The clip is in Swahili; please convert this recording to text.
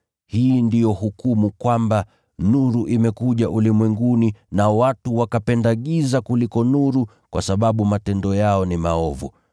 Hii ndiyo hukumu kwamba: Nuru imekuja ulimwenguni, nao watu wakapenda giza kuliko nuru kwa sababu matendo yao ni maovu.